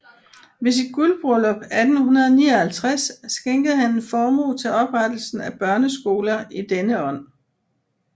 Ved sit guldbryllup 1859 skænkede han en formue til oprettelsen af børneskoler i denne ånd